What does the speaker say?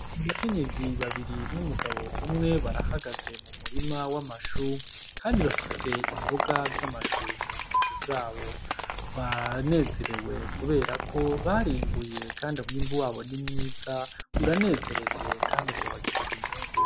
Abakenyezi babiri n'umugabo umwe barahagaze mu murima w' amashu kandi bafise imboga z'amashu mu ntoki zabo banezerewe kubera ko barimbuye kandi umwimbu wabo ni mwiza uranezereje kandi uzobagirira inyungu.